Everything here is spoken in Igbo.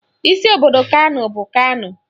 Isi obodo Kano bụ Kano